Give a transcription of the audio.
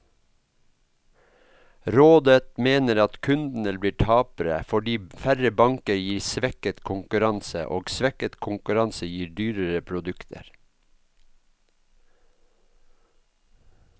Rådet mener at kundene blir tapere, fordi færre banker gir svekket konkurranse, og svekket konkurranse gir dyrere produkter.